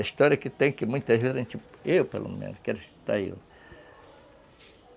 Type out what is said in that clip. A história que tem, que muitas vezes a gente... Eu, pelo menos, quero citar eu